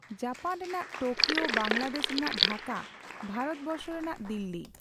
Japan ᱨᱮᱱᱟᱜ Tokyo, Bangladesh ᱨᱮᱱᱟᱜ ᱰᱷᱟᱠᱟ, ᱵᱷᱟᱨᱚᱛᱵᱚᱨᱥᱚ ᱨᱮᱱᱟᱜ ᱫᱤᱞᱞᱤ᱾